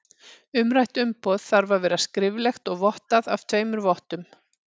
Umrætt umboð þarf að vera skriflegt og vottað af tveimur vottum.